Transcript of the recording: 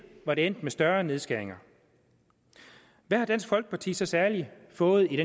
var det endt med større nedskæringer hvad har dansk folkeparti så særligt fået i